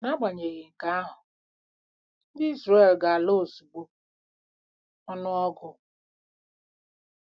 N’agbanyeghị nke ahụ, ndị Izrel ‘ga-ala ozugbo .’—Ọnụ Ọgụ.